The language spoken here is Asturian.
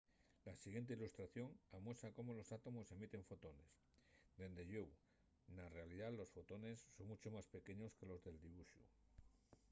la siguiente ilustración amuesa cómo los átomos emiten fotones dende llueu na realidá los fotones son muncho más pequeños que los del dibuxu